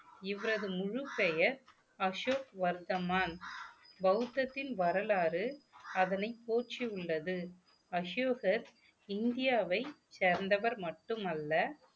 இவரது முழுப்பெயர் அசோக் வர்த்தமான் பௌத்தத்தின் வரலாறு அதனை போற்றி உள்ளது அசோகர் இந்தியாவை சேர்ந்தவர் மட்டுமல்ல